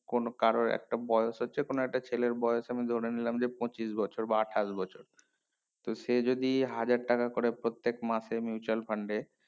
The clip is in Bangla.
কোন কারোর একটা বয়েস হচ্ছে কোনো একটা ছেলের বয়েস আমি ধরে নিলাম যে পঁচিশ বছর বা আঠাশ বছর তো সে যদি হাজার টাকা করে প্রত্যেক মাসে mutual fund এ